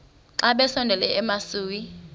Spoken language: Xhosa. xa besondela emasuie